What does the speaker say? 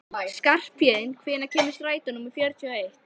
Skarphéðinn, hvenær kemur strætó númer fjörutíu og eitt?